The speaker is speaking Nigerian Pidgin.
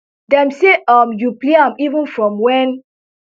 dem say um you play am even from wen